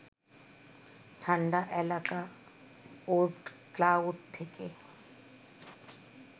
ঠাণ্ডা এলাকা Oort cloud থেকে